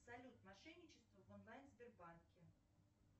салют мошенничество в онлайн сбербанке